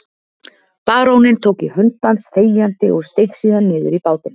Baróninn tók í hönd hans þegjandi og steig síðan niður í bátinn.